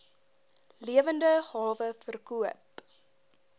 lewende hawe verkoop